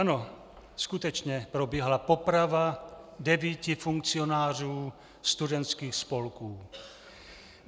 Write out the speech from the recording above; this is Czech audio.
Ano, skutečně probíhala poprava devíti funkcionářů studentských spolků.